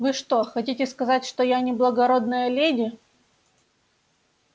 вы что хотите сказать что я не благородная леди